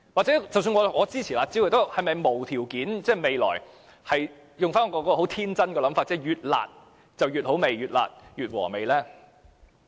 即使我支持"辣招"，但是否要無條件地支持，天真地認為"越辣越好吃"、"越辣越和味"呢？